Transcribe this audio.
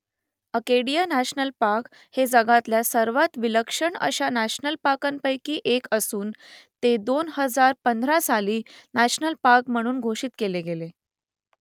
Acadia national park हे जगातल्या सर्वांत विलक्षण अशा नॅशनल पार्कांपैकी एक असून ते दोन हजार पंधरा साली नॅशनल पार्क म्हणून घोषित केले गेले